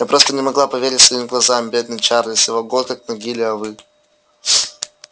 я просто не могла поверить своим глазам бедный чарли всего год как в могиле а вы